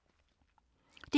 DR P2